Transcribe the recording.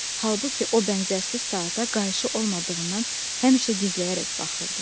Halbuki o bənzərsiz saata qayışı olmadığından həmişə gizləyərək baxırdı.